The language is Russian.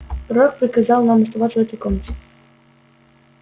пророк приказал вам оставаться в этой комнате